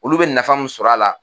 Olu be nafa mun sɔrɔ a la